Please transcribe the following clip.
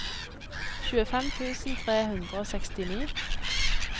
tjuefem tusen tre hundre og sekstini